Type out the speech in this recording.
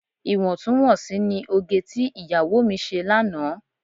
Iwọntún-wọnsì ni òge tí ìyàwó mi ṣe lánàá.